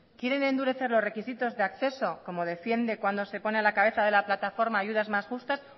quieren endurecer los requisitos de acceso como defiende cuando se pone a la cabeza de la plataforma ayudas más justas